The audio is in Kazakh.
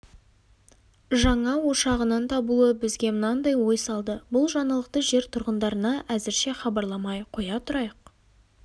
жаңа ошағының табылуы бізге мынандай ой салды бұл жаңалықты жер тұрғындарына әзірше хабарламай қоя тұрайық